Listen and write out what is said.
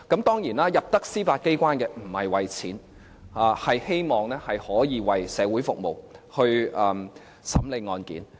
當然，大部分在司法機關工作的法官不是為了錢，而是希望可以為社會服務和審理案件。